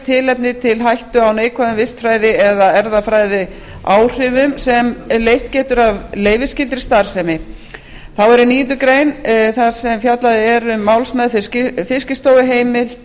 tilefni til hættu á neikvæðum vistfræði eða erfðafræðiáhrifum sem leitt getur af leyfisskyldri starfsemi þá er í níundu grein þar sem fjallað er um málsmeðferð fiskistofu heimild